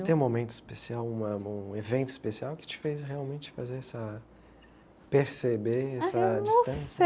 Tem um momento especial, uma um evento especial que te fez realmente fazer essa perceber, essa distância.